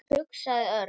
hugsaði Örn.